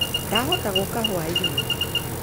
Ndahota gũka rwa-inĩ